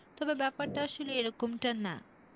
তবে ব্যাপারটা আসলে এরকমটা না।